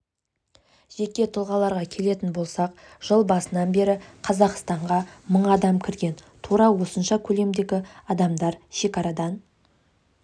жеке тұлғаларға келетін болсақ жыл басынан бері қазақстанға мың адам кірген тура осынша көлемдегі адамдар шекарадан